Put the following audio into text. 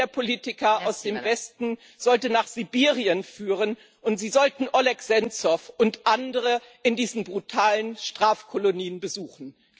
Der Weg der Politiker aus dem Westen sollte nach Sibirien führen, und sie sollten Oleh Senzow und andere in diesen brutalen Strafkolonien besuchen.